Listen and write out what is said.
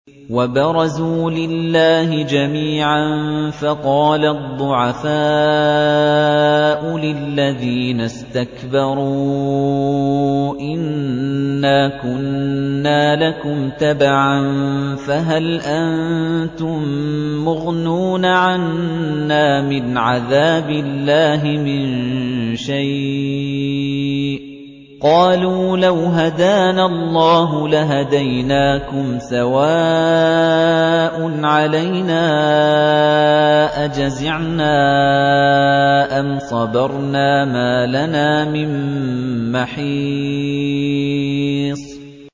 وَبَرَزُوا لِلَّهِ جَمِيعًا فَقَالَ الضُّعَفَاءُ لِلَّذِينَ اسْتَكْبَرُوا إِنَّا كُنَّا لَكُمْ تَبَعًا فَهَلْ أَنتُم مُّغْنُونَ عَنَّا مِنْ عَذَابِ اللَّهِ مِن شَيْءٍ ۚ قَالُوا لَوْ هَدَانَا اللَّهُ لَهَدَيْنَاكُمْ ۖ سَوَاءٌ عَلَيْنَا أَجَزِعْنَا أَمْ صَبَرْنَا مَا لَنَا مِن مَّحِيصٍ